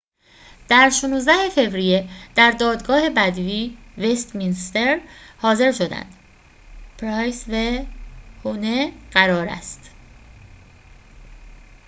قرار است huhne و pryce در ۱۶ فوریه در دادگاه بدوی وست‌مینستر حاضر شوند